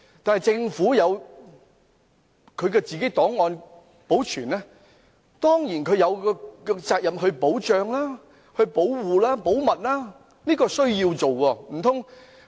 就政府自行保存的檔案，政府當然有責任將檔案保護保密，這是必須的。